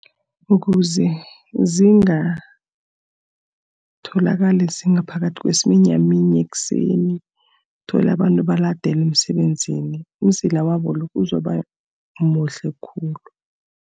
Ukuze zingatholakali zingaphakathi kwesiminyaminya ekuseni, uthole abantu baladelwe emsebenzini. Umzila wabo lo uzoba muhle khulu.